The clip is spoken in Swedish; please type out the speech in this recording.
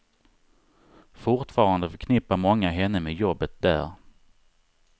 Fortfarande förknippar många henne med jobbet där.